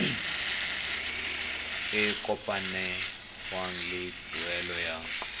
e kopanngwang le tuelo ya